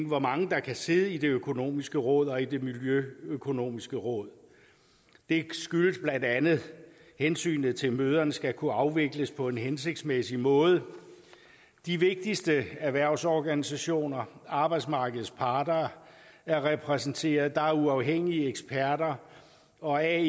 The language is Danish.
hvor mange der kan sidde i det økonomiske råd og i det miljøøkonomiske råd det skyldes blandt andet hensynet til at møderne skal kunne afvikles på en hensigtsmæssig måde de vigtigste erhvervsorganisationer arbejdsmarkedets parter er repræsenteret der er uafhængige eksperter og ae